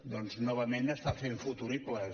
doncs novament està fent futuribles